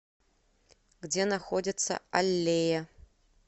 где находится аллея